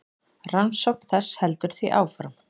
Rannsókn þess heldur því áfram.